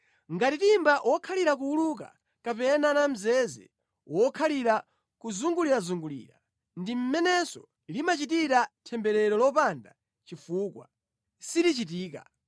Ngati timba wokhalira kuwuluka kapena namzeze wokhalira kuzungulirazungulira, ndi mmenenso limachitira temberero lopanda chifukwa, silichitika.